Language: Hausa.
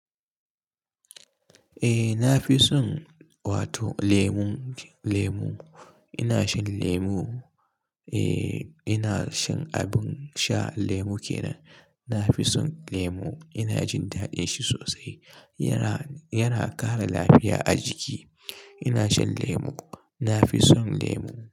Eh, nafi son wato lemu lemu. Ina shan lemo, eh ina shan abin sha lemu kenan. Na fi son lemu, ina jin daɗin shi sosai. Yana, yana ƙara lafiya a jiki. Ina shan lemo. Na fi son lemo.